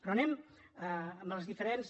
però anem amb els diferents